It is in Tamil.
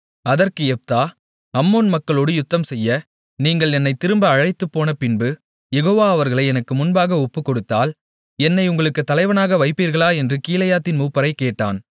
அதற்கு யெப்தா அம்மோன் மக்களோடு யுத்தம்செய்ய நீங்கள் என்னைத் திரும்ப அழைத்துப்போனபின்பு யெகோவா அவர்களை எனக்கு முன்பாக ஒப்புக்கொடுத்தால் என்னை உங்களுக்குத் தலைவனாக வைப்பீர்களா என்று கீலேயாத்தின் மூப்பரைக் கேட்டான்